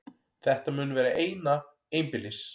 Þetta mun vera eina einbýlis